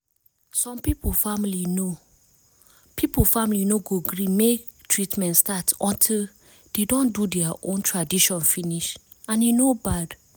some people family no people family no go gree make treatment start until de don do dea own tradition finish and e no bad